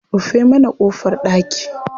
Rufe mana ƙofar ɗaki.